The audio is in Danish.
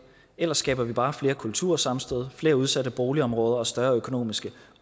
ellers skaber vi bare flere kultursammenstød flere udsatte boligområder og større økonomiske